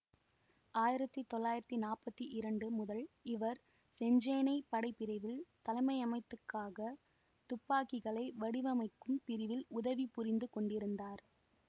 ஆயிரத்தி தொள்ளாயிரத்தி நாற்பத்தி இரண்டு முதல் இவர் செஞ்சேனைப் படை பிரிவின் தலைமையகத்துக்காக துப்பாக்கிகளை வடிவமைக்கும் பிரிவில் உதவி புரிந்து கொண்டிருந்தார்